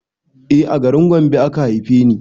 E a garin Gombe aka haife ni